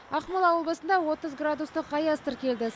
ақмола облысында отыз градустық аяз тіркелді